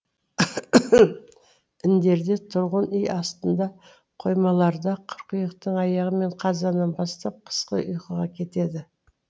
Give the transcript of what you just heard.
індерде тұрғын үй астында қоймаларда қыркүйектің аяғы мен қазаннан бастап қысқы ұйқыға кетеді